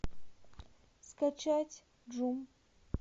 скачать джум